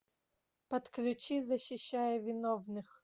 подключи защищая виновных